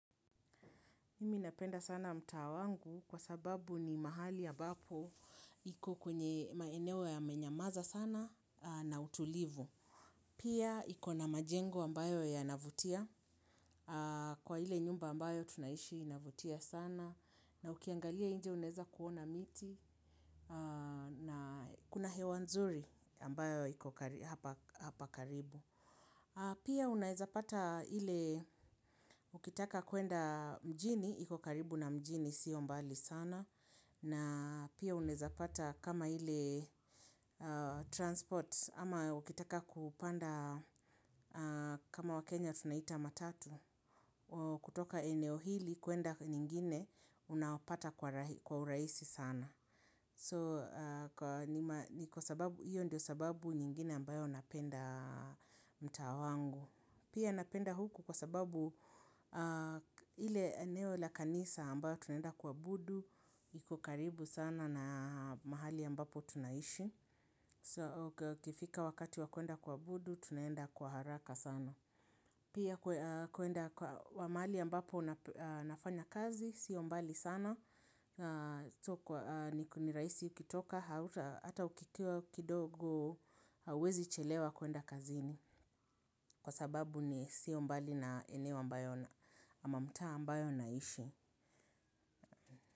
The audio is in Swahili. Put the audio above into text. Mimi napenda sana mtaa wangu kwa sababu ni mahali ambapo iko kwenye maeneo yamenyamaza sana na utulivu. Pia iko na majengo ambayo yanavutia kwa ile nyumba ambayo tunaishi inavutia sana na ukiangalia nje unaweza kuona miti na kuna hewa nzuri ambayo hapa karibu. Pia unaweza pata ile, ukitaka kwenda mjini, iku karibu na mjini, sio mbali sana, na pia unaweza pata kama ile transport, ama ukitaka kupanda kama wa Kenya tunaita matatu. Kutoka eneo hili, kwenda nyingine, unapata kwa urahisi sana. So, hiyo ndio sababu nyingine ambayo napenda mtaa wangu. Pia napenda huku kwa sababu ile eneo la kanisa ambao tunaenda kuabudu, iko karibu sana na mahali ambapo tunaishi. So ikifika wakati wa kwenda kuabudu, tunaenda kwa haraka sana. Pia kwenda wa mahali ambapo nafanya kazi, sio mbali sana. Tukiwa ni kuniraisi ukitoka hauta hata ukikiwa kidogo hawezi chelewa kuenda kazini kwa sababu ni sio mbali na eneo ambayo ama mta ambayo naishi.